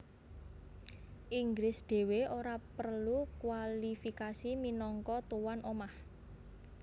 Inggris dhéwé ora prelu kwalifikasi minangka tuwan omah